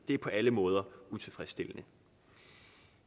det er på alle måder utilfredsstillende